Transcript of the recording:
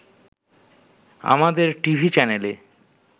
আমাদের টিভি চ্যানেলে